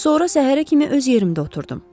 Sonra səhərə kimi öz yerimdə oturdum.